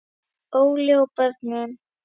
Óli og börnin.